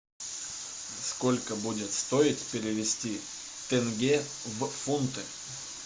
сколько будет стоить перевести тенге в фунты